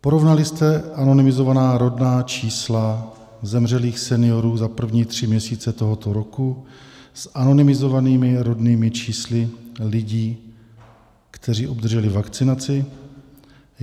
Porovnali jste anonymizovaná rodná čísla zemřelých seniorů za první tři měsíce tohoto roku s anonymizovanými rodnými čísly lidí, kteří obdrželi vakcinaci?